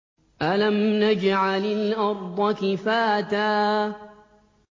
أَلَمْ نَجْعَلِ الْأَرْضَ كِفَاتًا